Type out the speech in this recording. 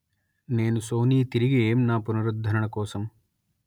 నేను సోనీ తిరిగి ఏం నా పునరుద్ధరణ కోసం